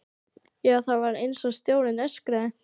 Já, það var einsog sjórinn öskraði.